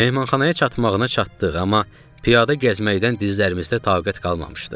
Mehmanxanaya çatmağına çatdıq, amma piyada gəzməkdən dizlərimizdə taqət qalmamışdı.